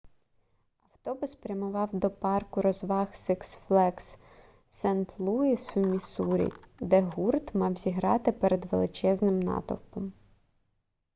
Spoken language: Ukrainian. автобус прямував до парку розваг сикс флеґс сент-луїс в міссурі де гурт мав зіграти перед величезним натовпом